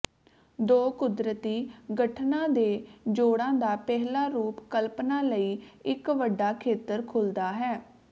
ਦੋ ਕੁਦਰਤੀ ਗਠਣਾਂ ਦੇ ਜੋੜਾਂ ਦਾ ਪਹਿਲਾ ਰੂਪ ਕਲਪਨਾ ਲਈ ਇੱਕ ਵੱਡਾ ਖੇਤਰ ਖੁੱਲਦਾ ਹੈ